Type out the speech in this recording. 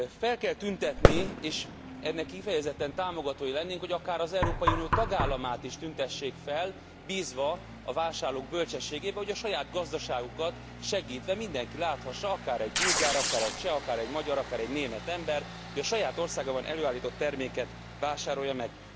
Fel kell tüntetni és ennek kifejezetten támogatója lennénk hogy akár az Európai Unió tagállamát is tüntessék fel, bízva a vásárlók bölcsességében, hogy a saját gazdaságukat segítve mindenki láthassa, akár egy bolgár, akár egy cseh, akár egy magyar, akár egy német ember, hogy a saját országában előállított terméket vásárolja meg.